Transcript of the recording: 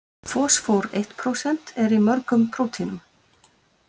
Fosfór eitt prósent- Er í mörgum prótínum.